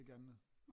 Ikke andet?